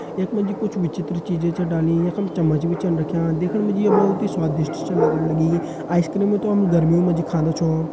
यख मा जी कुछ विचित्र चीजें छ डालीं यख मा चम्मच भी रख्यां दिखेण मा ये बहोत स्वादिष्ट दिखेण लगण लगीं आइस क्रीम हम गर्मियों मा खाँदा छो।